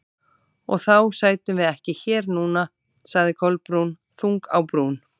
Og þá sætum við ekki hér núna- sagði Kolbrún, þung á brún.